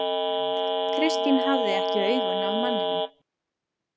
Kristín hafði ekki augun af manninum.